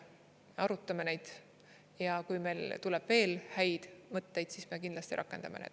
Me arutame neid ja kui meil tuleb veel häid mõtteid, siis me kindlasti rakendame neid.